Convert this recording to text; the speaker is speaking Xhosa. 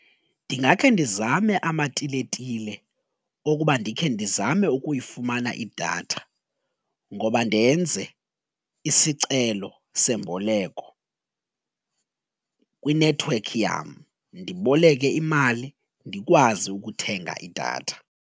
Ndingakhe ndizame amatiletile okuba ndikhe ndizame ukuyifumana idatha ngoba ndenze isicelo semboleko kwinethiwekhi yam, ndiboleke imali ndikwazi ukuthenga idatha.